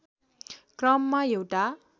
क्रममा एउटा